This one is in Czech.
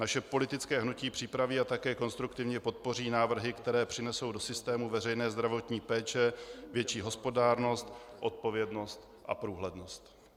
Naše politické hnutí připraví a také konstruktivně podpoří návrhy, které přinesou do systému veřejné zdravotní péče větší hospodárnost, odpovědnost a průhlednost.